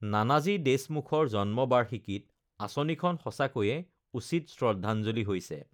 নানাজী দেশমুখৰ জন্ম বাৰ্ষিকীত আঁচনিখন সঁচাকৈয়ে উচিত শ্ৰদ্ধঞ্জলি হৈছে